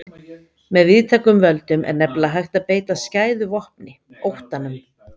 Með víðtækum völdum er nefnilega hægt að beita skæðu vopni, óttanum.